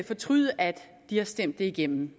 fortryde at de har stemt det igennem